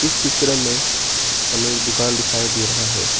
इस चित्र में हमें एक दुकान दिखाई दे रहा है।